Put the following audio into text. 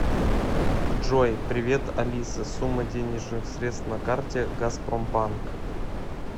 джой привет алиса сумма денежных средств на карте газпромбанк